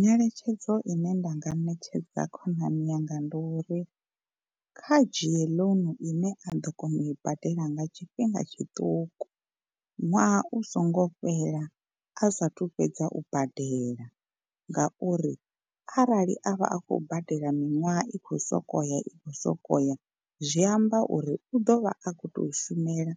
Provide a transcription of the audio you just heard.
Nyeletshedzo ine nda nga ṋetshedza khonani yanga ndi uri kha dzhie ḽounu ine a ḓo kona u i badela nga tshifhinga tshiṱuku, ṅwaha u songo fhela a sathu fhedza u badela ngauri arali a vha a khou badela miṅwaha i khou sokou ya i khou sokou ya zwi amba uri u ḓovha a kho to shumela